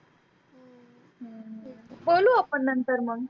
बोलु आपन नंतर मग